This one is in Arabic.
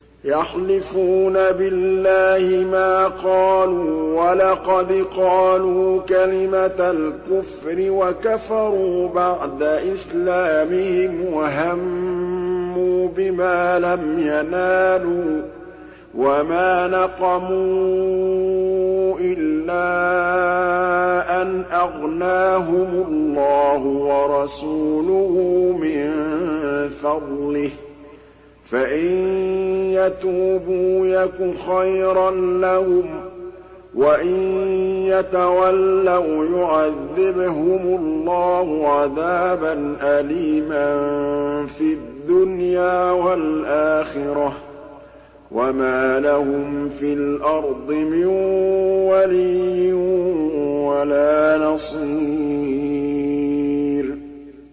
يَحْلِفُونَ بِاللَّهِ مَا قَالُوا وَلَقَدْ قَالُوا كَلِمَةَ الْكُفْرِ وَكَفَرُوا بَعْدَ إِسْلَامِهِمْ وَهَمُّوا بِمَا لَمْ يَنَالُوا ۚ وَمَا نَقَمُوا إِلَّا أَنْ أَغْنَاهُمُ اللَّهُ وَرَسُولُهُ مِن فَضْلِهِ ۚ فَإِن يَتُوبُوا يَكُ خَيْرًا لَّهُمْ ۖ وَإِن يَتَوَلَّوْا يُعَذِّبْهُمُ اللَّهُ عَذَابًا أَلِيمًا فِي الدُّنْيَا وَالْآخِرَةِ ۚ وَمَا لَهُمْ فِي الْأَرْضِ مِن وَلِيٍّ وَلَا نَصِيرٍ